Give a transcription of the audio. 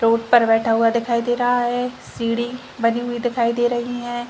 Road पर बैठा हुआ दिखाई दे रहा है सीढ़ी बनी हुई दिखाई दे रही है।